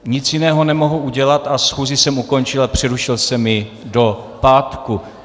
Nic jiného nemohu udělat a schůzi jsem ukončil a přerušil jsem ji do pátku.